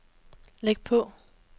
læg på